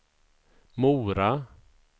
Mora